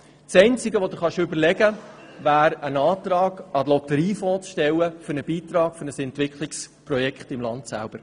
Das Einzige, was du dir überlegen kannst, wäre einen Antrag an den Lotteriefonds zu stellen für einen Beitrag für ein Entwicklungsprojekt im Land selber.